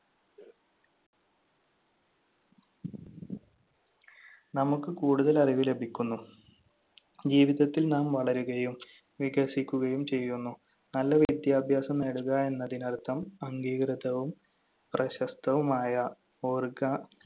നമുക്ക് കൂടുതൽ അറിവ് ലഭിക്കുന്നു. ജീവിതത്തിൽ നാം വളരുകയും വികസിക്കുകയും ചെയ്യുന്നു. നല്ല വിദ്യാഭ്യാസം നേടുക എന്നതിനർത്ഥം അംഗീകൃതവും പ്രശസ്തവുമായ ഓർഗ